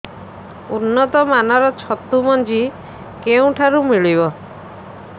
ଉନ୍ନତ ମାନର ଛତୁ ମଞ୍ଜି କେଉଁ ଠାରୁ ମିଳିବ